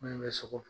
Min bɛ sogo